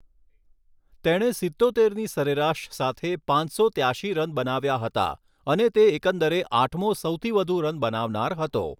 તેણે સિત્તોતેરની સરેરાશ સાથે પાંચસો ત્યાશી રન બનાવ્યા હતા અને તે એકદરે આઠમો સૌથી વધુ રન બનાવનાર હતો.